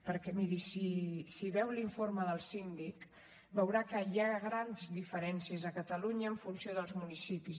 perquè miri si veu l’informe del síndic veurà que hi ha grans diferències a catalunya en funció dels municipis